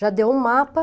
Já deu um mapa.